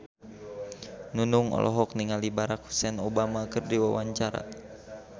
Nunung olohok ningali Barack Hussein Obama keur diwawancara